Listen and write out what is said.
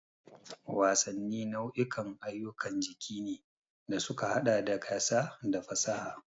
Wasanni nau'ikan ayyukan jiki ne da suka haɗa da gasa da fasaha.